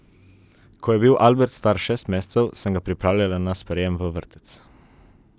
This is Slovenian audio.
Ko je bil Albert star šest mesecev, sem ga pripravljala na sprejem v vrtec.